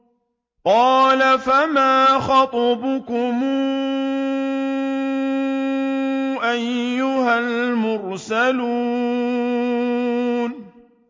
قَالَ فَمَا خَطْبُكُمْ أَيُّهَا الْمُرْسَلُونَ